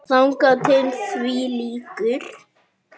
Þangað til því lýkur.